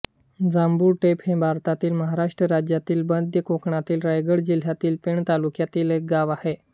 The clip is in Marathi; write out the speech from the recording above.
जांभुळ टेप हे भारतातील महाराष्ट्र राज्यातील मध्य कोकणातील रायगड जिल्ह्यातील पेण तालुक्यातील एक गाव आहे